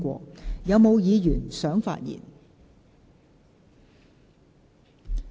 是否有議員想發言？